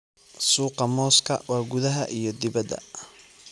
Suuqa mooska waa gudaha iyo dibadda.